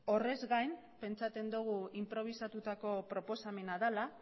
horrez gain pentsatzen dugu inprobisatutako proposamena dela